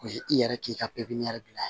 O ye i yɛrɛ k'i ka pipiniyɛri bila a ye